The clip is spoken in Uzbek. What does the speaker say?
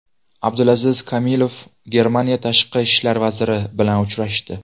Abdulaziz Komilov Germaniya tashqi ishlar vaziri bilan uchrashdi.